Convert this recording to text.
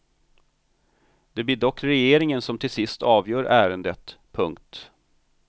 Det blir dock regeringen som till sist avgör ärendet. punkt